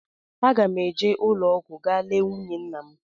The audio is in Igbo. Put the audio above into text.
Aga m eje ụlọọgwụ ga lee nwunye nwanne m